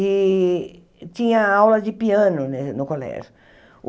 E tinha aula de piano ne no colégio.